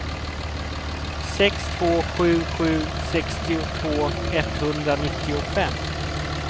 sex två sju sju sextiotvå etthundranittiofem